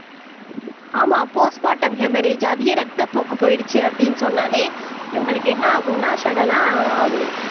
ஆமா அதிக ரத்தப்போக்கு போயிடுச்சு அப்படின்னு சொன்னாலே இவங்களுக்கு என்ன ஆகும்னா சடனா